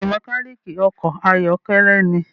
Bẹẹni, mekaniki ọkọ ayọkẹlẹ ní